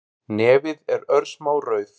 Nefið er örsmá rauð